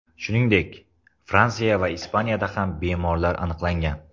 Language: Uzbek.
Shuningdek, Fransiya va Ispaniyada ham bemorlar aniqlangan.